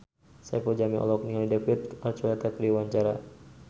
Saipul Jamil olohok ningali David Archuletta keur diwawancara